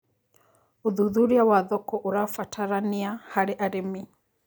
Ũthũthũrĩa wa thoko ũrabataranĩa harĩ arĩmĩ